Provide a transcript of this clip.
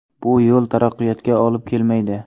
Bu yo‘l taraqqiyotga olib kelmaydi.